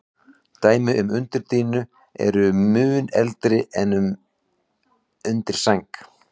Dæmi um undirdýnu eru mun eldri en um undirsæng.